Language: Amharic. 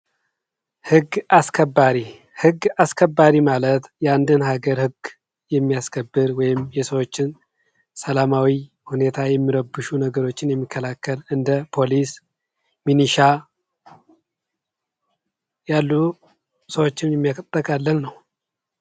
ሕግ አስከባሪ ሕግ አስከባሪ ማለት የአንድን ሀገር ህግ የሚያስከብር ወይም የሰዎችን ሰላማዊ ሁኔታ የሚረብሹ ነገሮችን የሚከላከል እንደ ፖሊስ፣ ሚሊሻ ያሉ ሰዎችን የሚያጠቃልል ነው።